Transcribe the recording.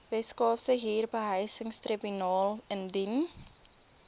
weskaapse huurbehuisingstribunaal indien